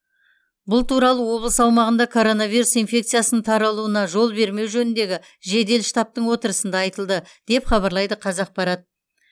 бұл туралы облыс аумағында коронавирус инфекциясының таралуына жол бермеу жөніндегі жедел штабтың отырысында айтылды деп хабарлайды қазақпарат